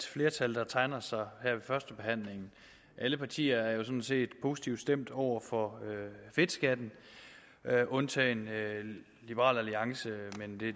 flertal der tegner sig her ved førstebehandlingen alle partier er jo sådan set positivt stemt over for fedtskatten undtagen liberal alliance men